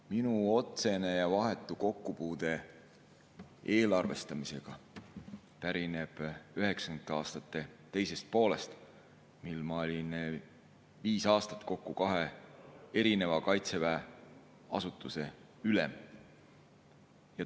Minu otsene ja vahetu kokkupuude eelarvestamisega pärineb 1990. aastate teisest poolest, mil ma olin viis aastat kokku kahe erineva Kaitseväe asutuse ülem.